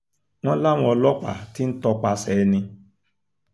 wọ́n láwọn ọlọ́pàá ti ń tọpasẹ̀ ẹni